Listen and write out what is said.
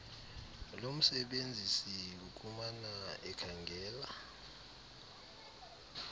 lomsebenzisi ukumana ekhangela